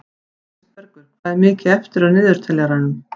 Kristbergur, hvað er mikið eftir af niðurteljaranum?